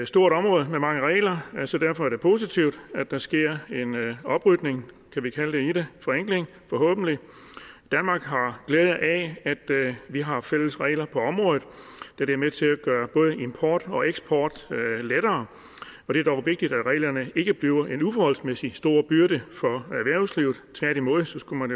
stort område med mange regler så derfor er det positivt at der sker en oprydning kan vi kalde det i det forenkling forhåbentlig danmark har glæde af at vi har fælles regler på området da det er med til at gøre både import og eksport lettere og det er dog vigtigt at reglerne ikke bliver en uforholdsmæssig stor byrde for erhvervslivet tværtimod skulle man